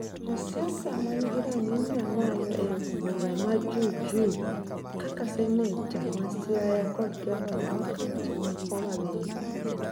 josiasa man'gi rang'iny mamalo e od bura ma jujuju kaka Seneta ma Siaya kod gavana ma Kaunti ma Homabay